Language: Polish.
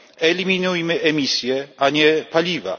Eliminujmy emisję, a nie paliwa!